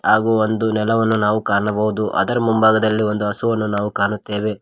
ಹಾಗು ಒಂದು ನೆಲವನ್ನು ನಾವು ಕಾಣಬಹುದು ಅದರ ಮುಂಭಾಗದಲ್ಲಿ ಒಂದು ಹಸುವನ್ನು ನಾವು ಕಾಣುತ್ತೇವೆ.